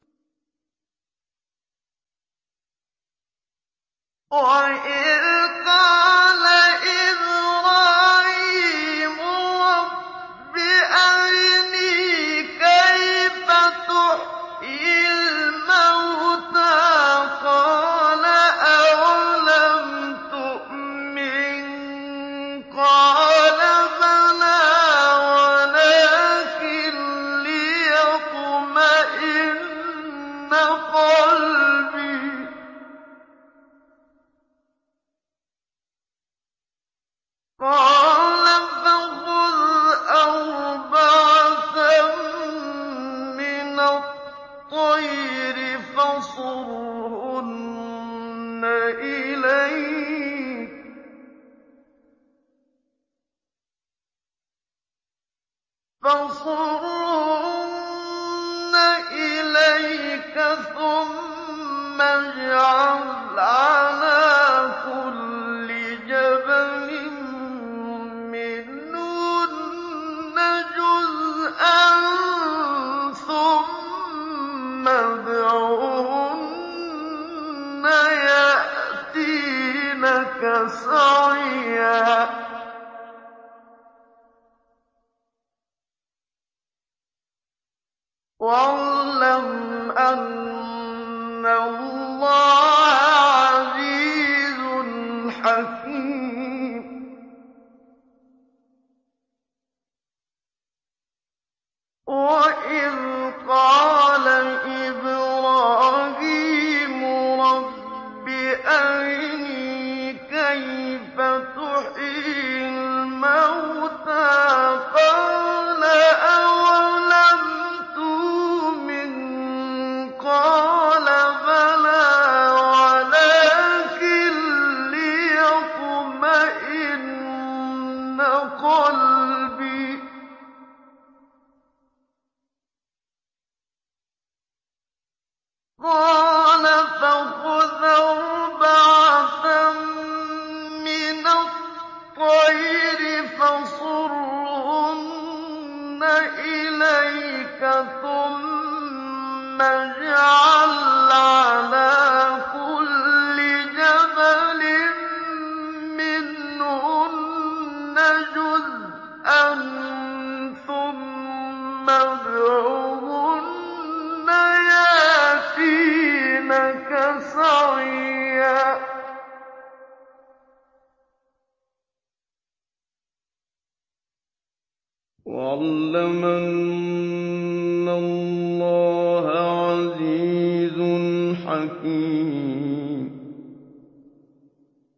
وَإِذْ قَالَ إِبْرَاهِيمُ رَبِّ أَرِنِي كَيْفَ تُحْيِي الْمَوْتَىٰ ۖ قَالَ أَوَلَمْ تُؤْمِن ۖ قَالَ بَلَىٰ وَلَٰكِن لِّيَطْمَئِنَّ قَلْبِي ۖ قَالَ فَخُذْ أَرْبَعَةً مِّنَ الطَّيْرِ فَصُرْهُنَّ إِلَيْكَ ثُمَّ اجْعَلْ عَلَىٰ كُلِّ جَبَلٍ مِّنْهُنَّ جُزْءًا ثُمَّ ادْعُهُنَّ يَأْتِينَكَ سَعْيًا ۚ وَاعْلَمْ أَنَّ اللَّهَ عَزِيزٌ حَكِيمٌ